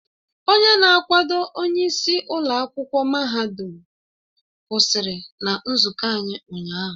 Onye na-akwado onyeisi ụlọ akwụkwọ mahadum kwụsịrị na nzụkọ anyị ụnyahụ